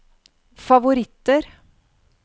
favoritter